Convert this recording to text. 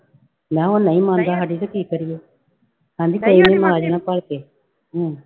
ਮੈਂ ਕਿਹਾ ਉਹ ਨਹੀਂ ਮੰਨਦਾ ਸਾਡੀ ਤੇ ਕੀ ਕਰੀਏ, ਕਹਿੰਦੀ ਹਮ